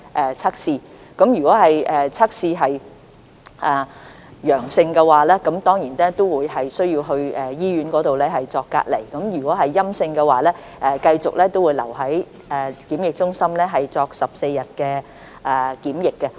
如測試結果是陽性，當然需要把他們轉送到醫院隔離，如結果是陰性，他們便會繼續留在檢疫中心接受14天檢疫。